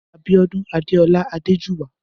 Abiodun Adola Adejuwa